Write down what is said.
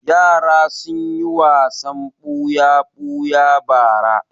Yara sun yi wasan buya-buya bara.